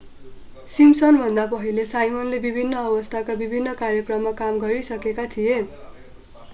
सिम्पसनभन्दा पहिला साइमनले विभिन्न अवस्थाका विभिन्न कार्यक्रममा काम गरिसकेका थिए